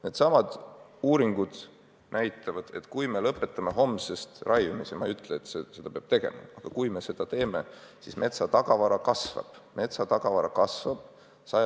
Needsamad uuringud näitavad, et kui me lõpetame homsest raiumise – ma ei ütle, et seda peab tegema, aga kui me seda teeme –, siis metsatagavara sajandi lõpuni kasvab.